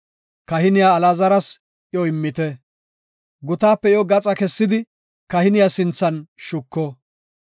Kahiniya Alaazaras iyo immite; gutaape iyo gaxa kessidi kahiniya sinthan shuko.